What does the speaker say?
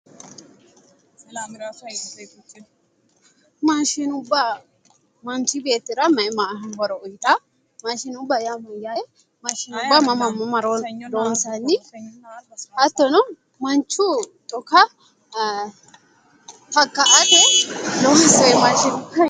Mashinubba manichi beetira mayi mayi horo uyitawo? mashinubba yaa Mayyaate? mashinubba mama loonissanni? hattono manichu xuka takka"ate loonisanni mashinubbate